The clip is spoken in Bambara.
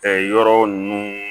yɔrɔ ninnu